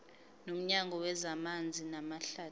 nomnyango wezamanzi namahlathi